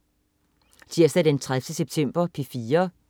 Tirsdag den 30. september - P4: